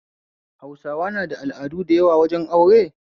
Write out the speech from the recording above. Hausawa na da al'adu da yawa wajen aure